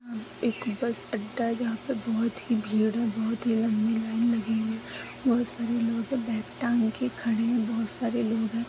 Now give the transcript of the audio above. एक बस अड्डा है जहा पे बोहत ही भीड़ है बोहत ही लम्बी लाइन लगी हुई है बोहत सारे लोग बैग टांग के खड़े है बोहत सारे लोग है।